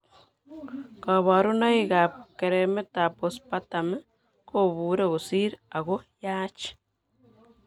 Kaborunoik ab keremet ab postpartum kobuure kosir ako yaach